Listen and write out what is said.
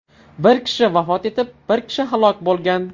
Bir kishi vafot etib, biri halok bo‘lgan.